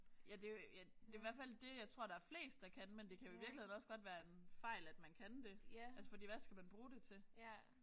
Ja det jo ja det i hvert fald det jeg tror der er flest der kan. Men det kan jo i virkeligheden også godt være en fejl at man kan det altså fordi hvad skal man bruge det til